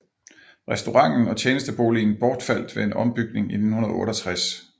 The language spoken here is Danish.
Restauranten og tjenesteboligen bortfaldt ved en ombygning i 1968